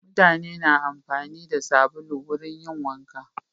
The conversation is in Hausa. Mutane na amfani da sabulu wurin yin wanka.